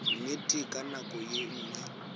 nnete ka nako ye nngwe